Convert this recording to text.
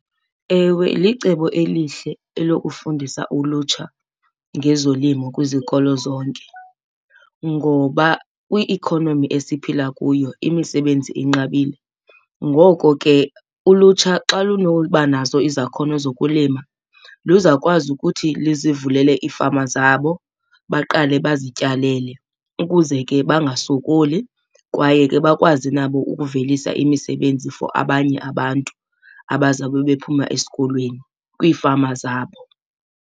Ewe, licebo elihle elokufundisa ulutsha ngezolimo kwizikolo zonke ngoba kwi-economy esiphila kuyo imisebenzi inqabile. Ngoko ke ulutsha xa lunoba nazo izakhono zokulima luza kwazi ukuthi lizivulele iifama zabo baqale bazityalele ukuze ke bangasokoli kwaye ke bakwazi nabo ukuvelisa imisebenzi for abanye abantu abazawube bephuma esikolweni kwiifama zabo.